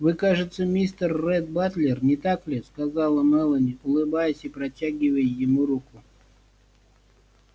вы кажется мистер ретт батлер не так ли сказала мелани улыбаясь и протягивая ему руку